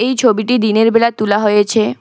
এই ছবিটি দিনেরবেলা তুলা হয়েছে।